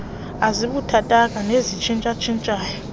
ezibuthathaka nezitshintsha tshintshayo